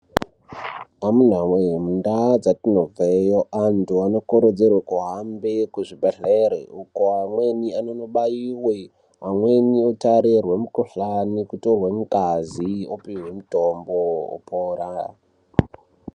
Amuna wee mundaa dzatinobveyo antu anokurudzirwe kuhambe kuzvibhedhleri uko amweni anonobaiwe amweni otarirwe mukhuhlani kutorwe ngazi opihwe mutombo opora.